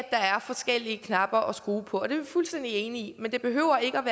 er forskellige knapper at skrue på det er vi fuldstændig enige i men det behøver ikke